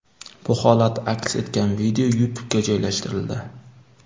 Bu holat aks etgan video YouTube’ga joylashtirildi.